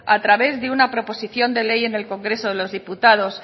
a través de una proposición de ley en el congreso de los diputados